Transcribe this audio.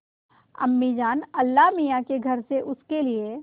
अम्मीजान अल्लाहमियाँ के घर से उसके लिए